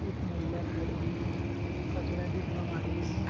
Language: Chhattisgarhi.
एक महिला खड़े हें कचरा डिब्बा माढ़े हें।